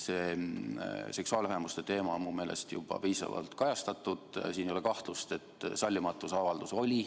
Seda seksuaalvähemuste teemat on mu meelest juba piisavalt kajastatud, siin ei ole kahtlust, et sallimatusavaldus oli.